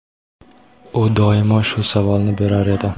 U doimo shu savolni berar edi.